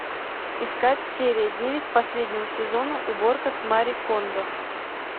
искать серия девять последнего сезона уборка с мари кондо